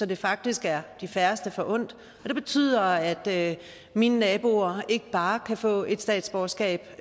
det faktisk er de færreste forundt og det betyder at mine naboer ikke bare kan få et statsborgerskab